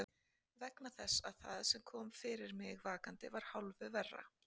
Vegna þess að það sem kom fyrir mig vakandi var hálfu verra.